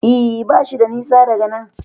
E, bashi da nisa daga nan.